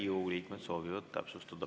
Riigikogu liikmed soovivad täpsustada.